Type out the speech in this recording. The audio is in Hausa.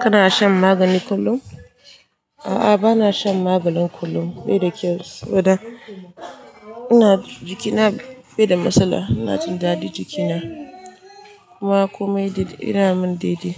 Kana shan magani kullum? A'a, bana shan maganin kullum bai da kyau. Saboda ina jikina bai da matsala, ina jin dadi jikina. Kuma kome dai yana min daidai,